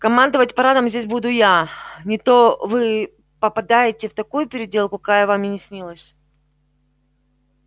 командовать парадом здесь буду я не то вы попадаете в такую переделку какая вам и не снилась